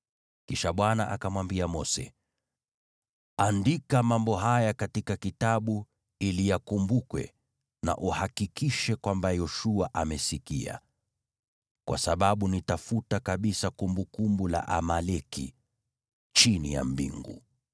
Kisha Bwana akamwambia Mose, “Andika mambo haya katika kitabu ili yakumbukwe, na uhakikishe kwamba Yoshua amesikia, kwa sababu nitafuta kabisa kumbukumbu la Amaleki chini ya mbingu.”